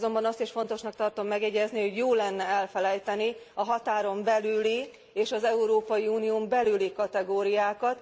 Azonban azt is fontosnak tartom megjegyezni, hogy jó lenne elfelejteni a határon belüli és az Európai Unión belüli kategóriákat.